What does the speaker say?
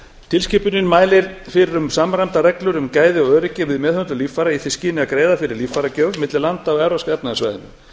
tilskipunin mælir fyrir um samræmdar reglur um gæði og öryggi við meðhöndlun líffæra í því skyni að auðvelda líffæragjöf milli landa á evrópska efnahagssvæðinu